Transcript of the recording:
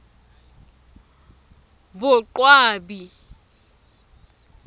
boqwabi